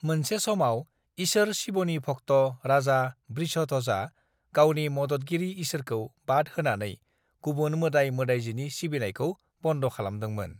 "मोनसे समाव, ईसोर शिवनि भक्ट' राजा वृषध्वजआ गावनि मददगिरि ईसोरखौ बाद होनानै गुबुन मोदाय-मोदायजोनि सिबिनायखौ बन्द' खालामदोंमोन।"